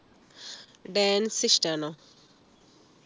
dance ഇഷ്ടാണോ